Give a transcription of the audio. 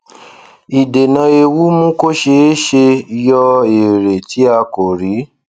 ìdènà ewu mú kó ṣee ṣe yọ èrè tí a kò rí